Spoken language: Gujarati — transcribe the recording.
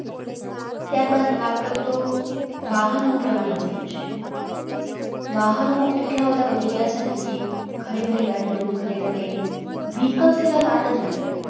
ત્યારબાદ વાત કરું તો વાહનોનું પ્રમાણ વધી ગયું છે. વાહનો એટલા બધા વધી ગ્યાં છે ને કે, ઘરેઘરે ગાડીયો ઘરેઘરે Vehicle સિવાય વાતજ નથી.